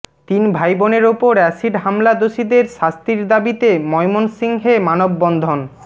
তিন ভাইবোনের ওপর অ্যাসিড হামলা দোষীদের শাস্তির দাবিতে ময়মনসিংহে মানববন্ধন